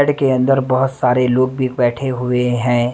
के अंदर बहुत सारे लोग भी बैठे हुए हैं।